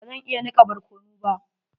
Bazan iya nika barkano ba.